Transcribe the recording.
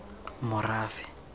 morafe